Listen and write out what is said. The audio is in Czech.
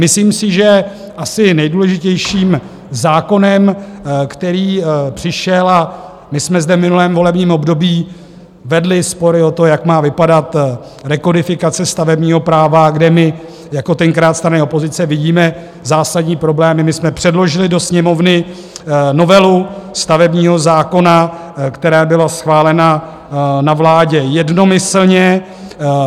Myslím si, že asi nejdůležitějším zákonem, který přišel, a my jsme zde v minulém volebním období vedli spory o to, jak má vypadat rekodifikace stavebního práva, kde my jako tenkrát strany opozice vidíme zásadní problémy, my jsme předložili do Sněmovny novelu stavebního zákona, která byla schválena na vládě jednomyslně.